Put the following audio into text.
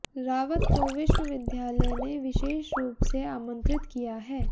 रावत को विश्वविद्यालय ने विशेष रूप से आमंत्रित किया है